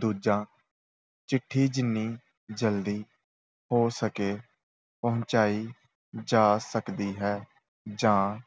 ਦੂਜਾ, ਚਿੱਠੀ ਜਿੰਨੀ ਜਲਦੀ ਹੋ ਸਕੇ ਪਹੁੰਚਾਈ ਜਾ ਸਕਦੀ ਹੈ ਜਾਂ